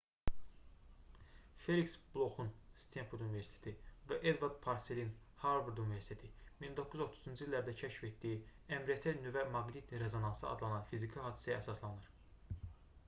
feliks bloxun stenford universiteti və edvard parselin harvard universiteti 1930-cu illərdə kəşf etdiyi mrt nüvə maqnit rezonansı adlanan fiziki hadisəyə əsaslanır